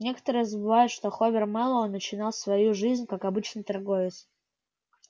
некоторые забывают что хобер мэллоу начинал свою жизнь как обычный торговец